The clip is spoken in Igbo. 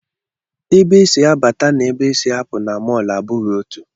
Ebe e si abata na ebe e si apụ na mọl a abụghị otú